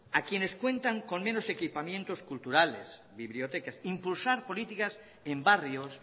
a quienes cuentan con menos equipamientos culturales bibliotecas impulsar políticas en barrios